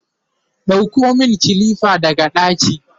ɗauko min kilifa daga ɗaki!